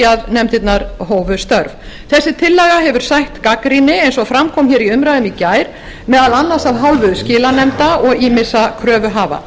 að nefndirnar hófu störf þessi tillaga hefur sætt gagnrýni eins og fram kom í umræðunni í gær meðal annars af hálfu skilanefnda og ýmissa kröfuhafa